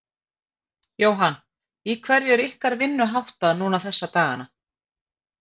Jóhann: Í hverju er ykkar vinnu háttað núna þessa dagana?